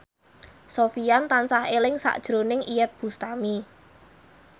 Sofyan tansah eling sakjroning Iyeth Bustami